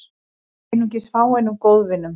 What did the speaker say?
Einungis fáeinum góðvinum